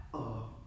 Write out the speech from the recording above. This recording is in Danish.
Åh